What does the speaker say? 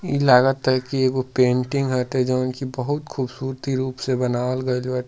इ लागत की इ पेंटिंग ह जोवन की बहुत खूबसूरती रूप से बनावल गइल बा।